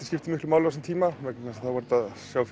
skiptu miklu máli á þessum tíma vegna þess að þá var hægt að sjá